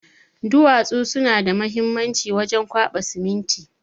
Duwatsu suna da muhimanci wajen kwaba siminti